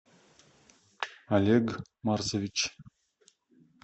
олег марсович